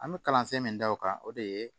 An bɛ kalansen min da o kan o de ye